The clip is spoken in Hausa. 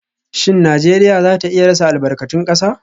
Shin Najeriya za ta iya rasa albarkatun kasa?